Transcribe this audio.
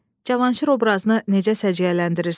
Cavanşir obrazını necə səciyyələndirirsiz?